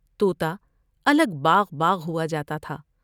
تو تا الگ باغ باغ ہوا جاتا تھا ۔